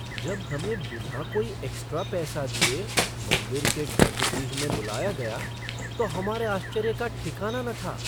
जब हमें बिना कोई एक्स्ट्रा पैसा दिए मंदिर के गर्भगृह में बुलाया गाया तो हमारे आश्चर्य का ठिकाना न था।